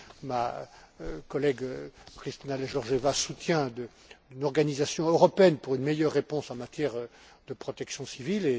ma collègue Kristalina Georgieva soutient, d'une organisation européenne pour une meilleure réponse en matière de protection civile.